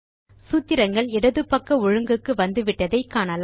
சூத்திரங்கள் இடது பக்க ஒழுங்குக்கு வந்துவிட்டதை காணலாம்